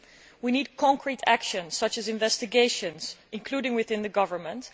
We need practical action such as investigations, including within the government.